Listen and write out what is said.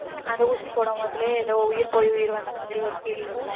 அந்த ஊசி போடும்போதிலே ஏதோ உயிர் போய் உயிர் வந்த மாதிரி ஒரு feel இருக்கும்